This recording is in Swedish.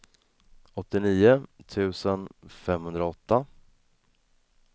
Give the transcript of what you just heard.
åttionio tusen femhundraåtta